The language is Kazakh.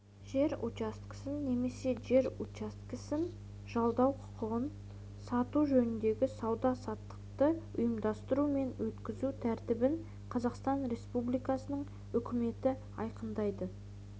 жер учаскесін немесе жер учаскесін жалдау құқығын сату жөніндегі сауда-саттықты ұйымдастыру мен өткізу тәртібін қазақстан республикасының үкіметі айқындайды